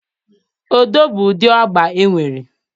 Odo bụ ụdị agba e nwere.